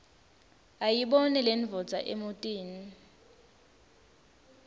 ayibone lendvodza emotini